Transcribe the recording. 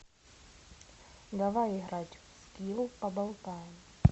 давай играть в скилл поболтаем